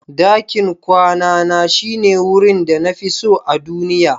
Dakin kwana Na shine wurin da na fi so a duniya.